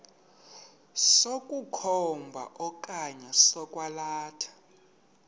sokukhomba okanye sokwalatha